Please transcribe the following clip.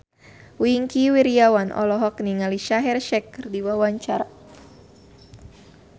Wingky Wiryawan olohok ningali Shaheer Sheikh keur diwawancara